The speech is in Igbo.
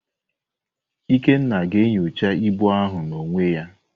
Ikenna ga-enyocha ibu ahụ n'onwe ya.